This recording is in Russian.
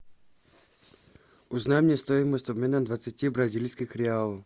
узнай мне стоимость обмена двадцати бразильских реалов